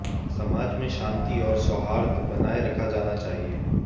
समाज में शांति और सौहार्द बनाए रखा जाना चाहिए